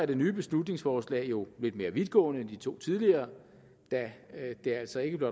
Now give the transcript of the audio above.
det nye beslutningsforslag jo lidt mere vidtgående end de to tidligere da det altså ikke